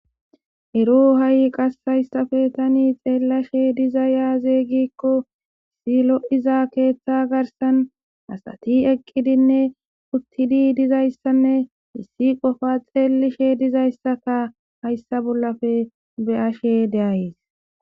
Ero hai qassi hayssape tani xeelashe diizay aaze giiko kehi loiiza keththa garssan asati eqqidinne uttidi dizzayssanne issi qoffa xellishe dizayssaka hayssa bollape beashshe de'ayssi.